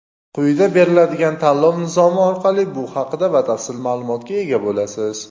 Quyida beriladigan tanlov nizomi orqali bu haqida batafsil ma’lumotga ega bo‘lasiz.